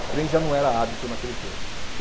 O trem já não era hábito naquele tempo.